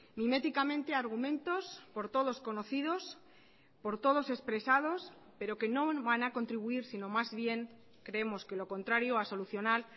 miméticamente argumentos por todos conocidos por todos expresados pero que no van a contribuir sino más bien creemos que lo contrario a solucionar